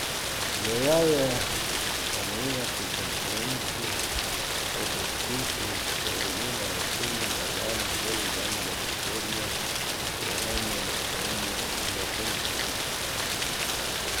Žerjav je na novinarski konferenci po podpisu sporazuma ocenil, da je danes velik dan za prihodnje sodelovanje med Slovenijo in Japonsko.